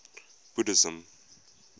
buddhism